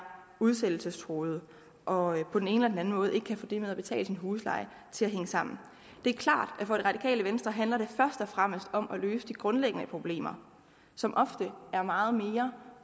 udsættelsestruede og på den ene eller anden måde ikke kan få det med at betale deres husleje til at hænge sammen det er klart at for radikale venstre handler det først og fremmest om at løse de grundlæggende problemer som ofte er meget mere